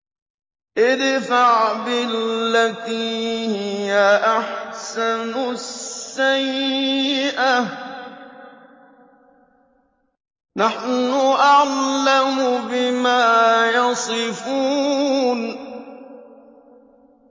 ادْفَعْ بِالَّتِي هِيَ أَحْسَنُ السَّيِّئَةَ ۚ نَحْنُ أَعْلَمُ بِمَا يَصِفُونَ